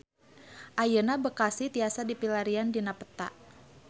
Ayeuna Bekasi tiasa dipilarian dina peta